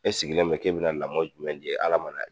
E sigilen bɛ k'e bɛna lamɔ jumɛn di Ala